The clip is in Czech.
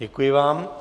Děkuji vám.